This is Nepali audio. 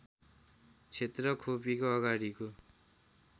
क्षेत्र खोपीको अगाडिको